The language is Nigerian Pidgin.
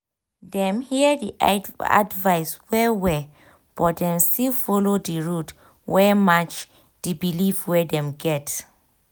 dem hear di advice well-well but dem still follow di road wey match di belief wey dem get.